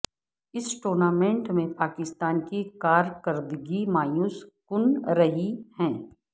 اس tournament میں پاکستان کی کارکردگی مایوس کن رہی ہے